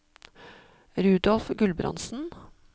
Rudolf Gulbrandsen